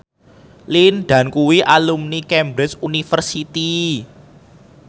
Lin Dan kuwi alumni Cambridge University